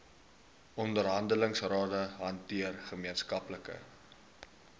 onderhandelingsrade hanteer gemeenskaplike